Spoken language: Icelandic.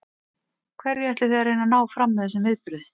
Hverju ætlið þið að reyna að ná fram með þessum viðburði?